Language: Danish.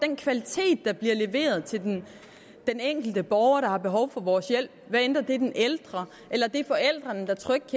den kvalitet der bliver leveret til den enkelte borger der har behov for vores hjælp hvad enten det er den ældre eller det er forældrene der trygt